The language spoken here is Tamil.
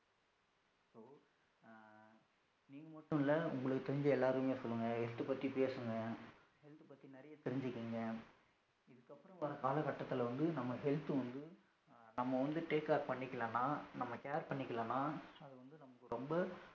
இதுமட்டுமில்ல உங்களுக்கு தெரிஞ்ச எல்லாருக்குமே சொல்லுங்க health பத்தி பேசுங்க health பத்தி நிறைய தெருஞ்சிகோங்க, இதுக்கு அப்பறம் வருகிற காலகட்டதுல வந்து நம்ம health வந்து நம்ம வந்து take care பண்ணிகளான நம்ம care பண்ணிகளான அது வந்து நமக்கு ரொம்ப